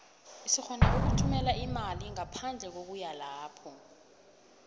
sirhona ukuthumela imali ngaphandle kokuya lapho